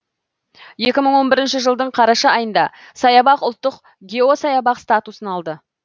екі мың он бірінші жылдың қараша айында саябақ ұлттық геосаябақ статусын алды